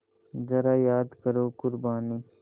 ज़रा याद करो क़ुरबानी